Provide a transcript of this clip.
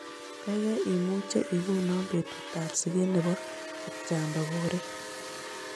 Kaigai imuche igonon betutap siget ne po kipchamba korir